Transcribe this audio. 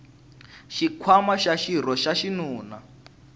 xinkwamana xa xirho xa xinuna